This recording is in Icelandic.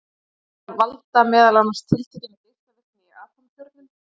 Þær valda meðal annars tiltekinni geislavirkni í atómkjörnum.